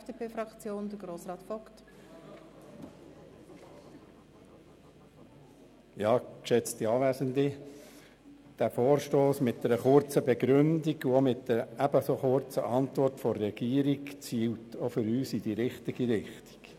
Der Vorstoss mit seiner kurzen Begründung und der kurzen Antwort des Regierungsrats zielt auch für uns in die richtige Richtung.